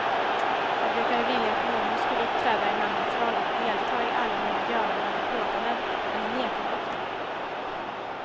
Jag brukade vilja att mormor skulle uppträda i mammas roll och delta i alla mina göranden och låtanden, men hon nekade ofta.